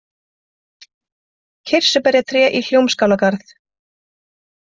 Kirsuberjatré í Hljómskálagarð